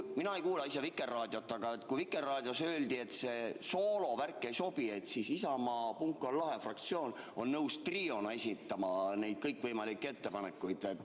Mina ise ei kuula Vikerraadiot, aga kui Vikerraadios öeldi, et see soolovärk ei sobi, siis Isamaa "Punk on lahe!" fraktsioon on nõus triona esitama neid kõikvõimalikke ettepanekuid.